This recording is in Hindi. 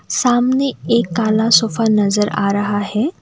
सामने एक काला सोफा नजर आ रहा है।